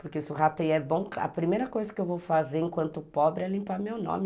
Porque se o rateio é bom, a primeira coisa que eu vou fazer enquanto pobre é limpar meu nome.